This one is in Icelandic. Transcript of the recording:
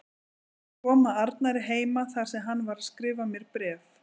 Ég kom að Arnari heima þar sem hann var að skrifa mér bréf.